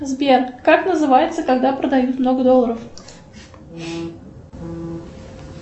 сбер как называется когда продают много долларов